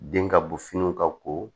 Den ka bɔ finiw ka ko